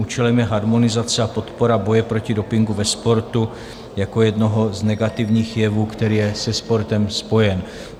Účelem je harmonizace a podpora boje proti dopingu ve sportu jako jednoho z negativních jevů, který je se sportem spojen.